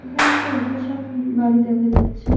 এখানে একটা অকেশন বাড়ি দেখা যাচ্ছে।